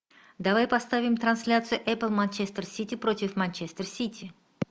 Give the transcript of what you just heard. давай поставим трансляцию эпл манчестер сити против манчестер сити